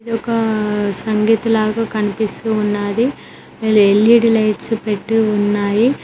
ఇది ఒక సంగీత్ లాగా కనిపిస్తూ ఉన్నాది ఎల్_ఈ_డి లైట్స్ పెట్టీ ఉన్నాయి.